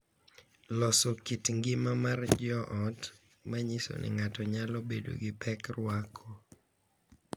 Loso kit ngima mar joot ma nyiso ni ng’ato nyalo bedo gi pek rwako